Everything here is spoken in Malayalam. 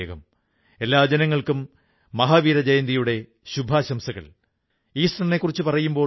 അതിൽ കർഷകർക്കും അവകാശമുണ്ട് അതുകൊണ്ട് കർഷകർക്ക് ബോണസ് നല്കി എന്നു പറഞ്ഞു